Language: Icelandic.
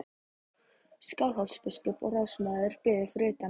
Skálholtsbiskup og ráðsmaður biðu fyrir utan.